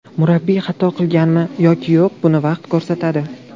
Murabbiy xato qilganmi yoki yo‘q, buni vaqt ko‘rsatadi.